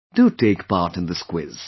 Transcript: Do take part in this quiz